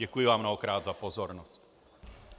Děkuji vám mnohokrát za pozornost.